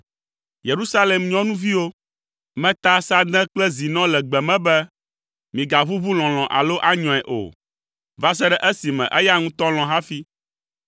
Yerusalem nyɔnuviwo, meta sãde kple zinɔ le gbe me be, “Migaʋuʋu lɔlɔ̃ alo anyɔe o, va se ɖe esime eya ŋutɔ lɔ̃ hafi.”